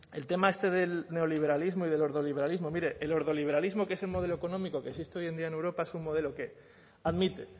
el tema este del neoliberalismo y del ordoliberalismo mire el ordoliberalismo que es el modelo económico que existe hoy en día en europa es un modelo que admite